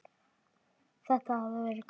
Þetta hafði verið góð vika.